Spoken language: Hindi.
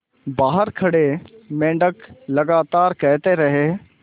बाहर खड़े मेंढक लगातार कहते रहे